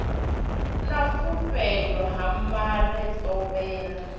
na vhupfelo ha mare thovhela